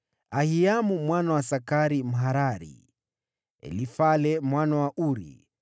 Ahiamu mwana wa Sakari Mharari, Elifale mwana wa Uru,